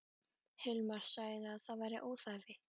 Hilmar sagði að það væri óþarfi.